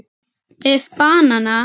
ef banana